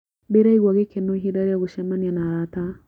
Ndĩraigua gĩkeno ihinda rĩa gũcemania na arata.